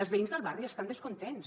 els veïns del barri estan descontents